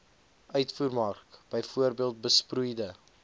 uitvoermark bv besproeide